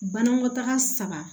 Banakɔtaga saba